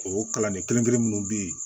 O kalanden kelen kelen munnu be yen